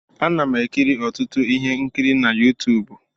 Ana m ekiri ọtụtụ ihe nkiri na Yuutubu.